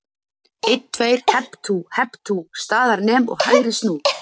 Einn, tveir, hep tú, hep tú, staðar nem og hægri snú.